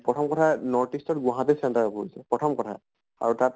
প্ৰথম কথা north east ত গুৱাহাটীত center পৰিছে, প্ৰথম কথা আৰু তাত